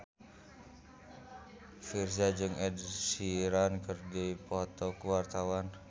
Virzha jeung Ed Sheeran keur dipoto ku wartawan